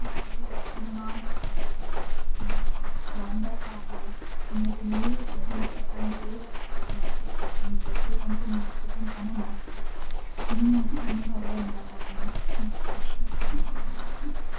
ಮಾನಸ ಆವಡ್ ವಂಡರ್ ಲಾ ಆವಡ್ ನೆಟೆ ನೀರ್ ಡ್ ಗೊಬ್ಬುನ ಪಂಡ ಏರೆಗ್ ಇಷ್ಟ ಇಜ್ಜಿ ಮಾತೆರೆಗ್ಲಾ ಇಷ್ಟನೆ ಜೋಕ್ಲೆಗಂತು ನೀರ್ ಡ್ ಗೊಬ್ಬುನ ಪಂಡ ಮಸ್ತ್ ಇಷ್ಟ ತೂನಗ ಅವ್ವೆ ನೆನಪಾಪುಂಡು ಮಸ್ತ್ ಖುಷಿ ಆಪುಂಡು ]